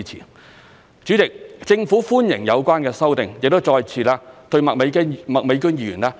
代理主席，政府歡迎有關修訂，亦再次對麥美娟議員表達我們的謝意。